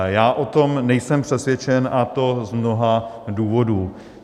Já o tom nejsem přesvědčen, a to z mnoha důvodů.